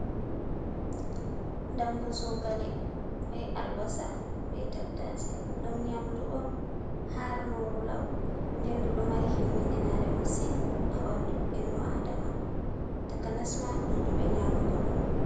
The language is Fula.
Dammbu zogale bee albasa bee tattase. Ɗum nyaamdu on harnooru law nden ndu ɗo mari himmiɗinaare masin haa ɓanndu innu aadama takanas maa, ɗuuɗuɓe nyaamugo ɗum.